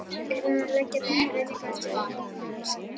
Er hann að leggja til breytingu á stjórnarskránni?